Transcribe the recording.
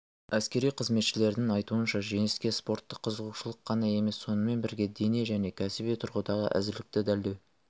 әскери қызметшілердің айтуынша жеңіске спорттық қызығушылық қана емес сонымен бірге дене және кәсіби тұрғыдағы әзірлікті дәлелдеу